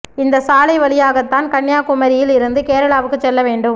இந்த சாலை வழியாக தான் கன்னியாகுமாியில் இருந்து கேரளாவுக்கும் செல்ல வேண்டும்